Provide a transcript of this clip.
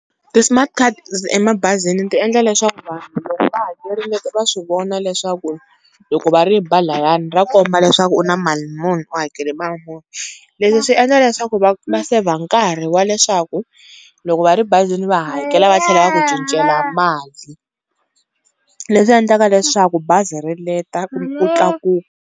Ti-smart card emabazini ti endla leswaku vanhu loko va hakerile va swi vona leswaku loko va ri ba layani ra komba leswaku u na mali muni u hakele mali muni. Leswi swi endla leswaku va save-a nkarhi wa leswaku loko va ri bazini va hakela va tlhela va ku cincela mali leswi endlaka leswaku bazi ri leta ku .